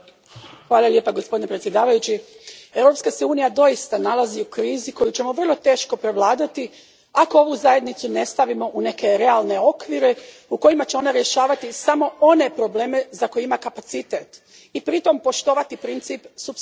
Gospodine predsjedavajući, Europska se unija doista nalazi u krizi koju ćemo vrlo teško prevladati ako ovu zajednicu ne stavimo u neke realne okvire u kojima će ona rješavati samo one probleme za koje ima kapacitet i pritom poštovati princip supsidijarnosti.